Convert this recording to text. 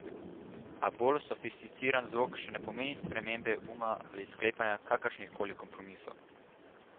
A bolj sofisticiran zvok še ne pomeni spremembe uma ali sklepanja kakršnih koli kompromisov.